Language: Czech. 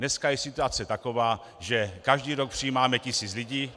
Dneska je situace taková, že každý rok přijímáme tisíc lidí.